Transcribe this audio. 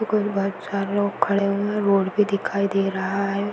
चार लोग खड़े हुए है। रोड भी दिखाई दे रहा है।